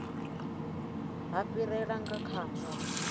ha fhirela nga kha zwa